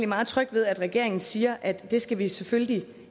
meget tryg ved at regeringen siger at det skal vi selvfølgelig